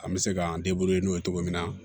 An bɛ se k'an n'o ye cogo min na